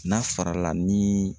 N'a farala ni